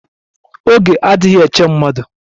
Oge adighi eche mmadụ